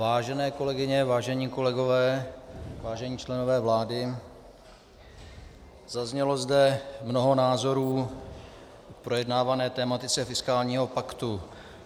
Vážené kolegyně, vážení kolegové, vážení členové vlády, zaznělo zde mnoho názorů k projednávané tematice fiskálního paktu.